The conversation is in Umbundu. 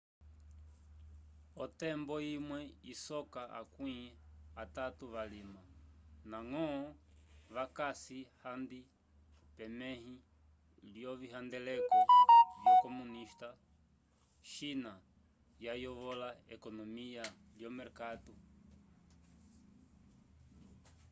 otembo imwe isoka akwĩ atatu valima ndañgo vakasi handi pemẽhi lyovihandeleko vyo comunista china yayovola ekonomiya lyomerkatu